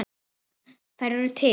Þær eru til.